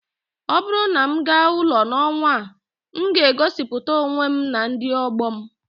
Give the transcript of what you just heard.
ọ bụrụ na m gaa ụlọ n'ọnwa a, m ga-egosiputa onwe m na ndị ọgbọ m